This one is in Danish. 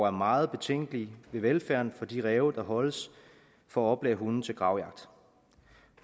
er meget betænkelig ved velfærden for de ræve der holdes for at oplære hunde til gravjagt